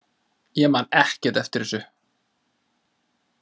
Ég man ekkert eftir þessu.